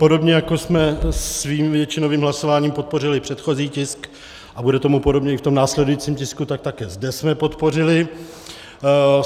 Podobně jako jsme svým většinovým hlasováním podpořili předchozí tisk, a bude tomu podobně i v tom následujícím tisku, tak také zde jsme podpořili.